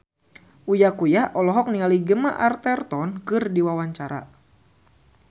Uya Kuya olohok ningali Gemma Arterton keur diwawancara